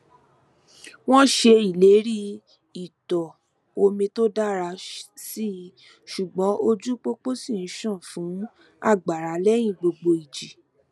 wọn ṣe ìlérí ìtọ omi tó dára síi ṣùgbọn ojú pópó ṣi ń ṣàn fun agbara lẹyìn gbogbo ìjì